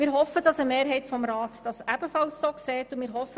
Wir hoffen, dass eine Mehrheit im Rat dies ebenfalls so sieht.